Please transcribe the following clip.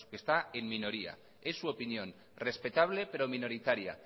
que está en minoría es su opinión respetable pero minoritaria